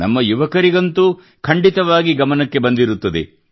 ನಮ್ಮ ಯುವಕರಿಗಂತೂ ಖಂಡಿತವಾಗಿಯೂ ಗಮನಕ್ಕೆ ಬಂದಿರುತ್ತದೆ